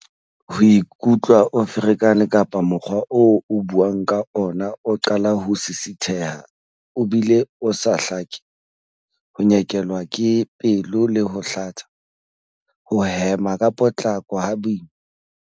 Ho ikutlwa o ferekane kapa mokgwa oo o buang ka ona o qala ho sisitheha o bile o sa hlake. Ho nyekelwa ke pelo le ho hlatsa. Ho hema ka potlako, ha boima.